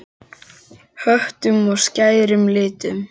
Höttum og skærum litum.